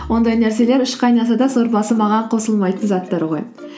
ондай нәрселер үш қайнаса да сорпасы маған қосылмайтын заттар ғой